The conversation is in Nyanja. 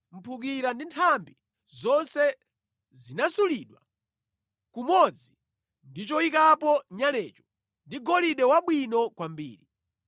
Mphukira ndi nthambi zonse zinasulidwa kumodzi ndi choyikapo nyalecho ndi golide wabwino kwambiri.